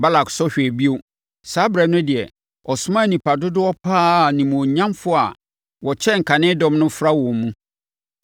Balak sɔ hwɛɛ bio. Saa ɛberɛ no deɛ, ɔsomaa nnipa dodoɔ pa ara a animuonyamfoɔ a wɔkyɛn kane dɔm no fra wɔn mu.